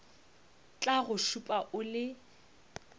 tla go šupa o le